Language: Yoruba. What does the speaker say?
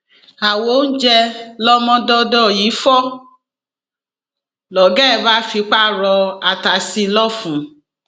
àwo oúnjẹ lọmọdọdọ yìí fọ lọgá ẹ bá fipá rọ ata sí i lọfun